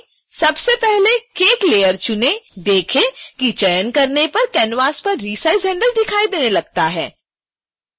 सबसे पहले cakelayer चुनें देखें कि चयन करने पर canvas पर रिसाइज़ हैंडल दिखाई देने लगता है